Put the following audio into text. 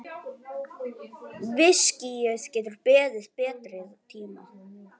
Viskíið getur beðið betri tíma.